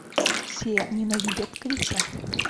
все ненавидят криса